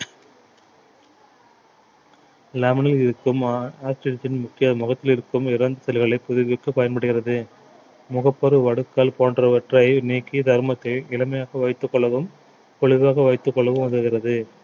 lemon ல் இருக்கும் முக்கிய முகத்தில் இருக்கும் இறந்த செல்களை புதுப்பிக்க பயன்படுகிறது முகப்பரு வடுக்கல் போன்றவற்றை நீக்கி சருமத்தை இளமையாக வைத்துக் கொள்ளவும் பொலிவாக வைத்துக் கொள்ளவும் உதவுகிறது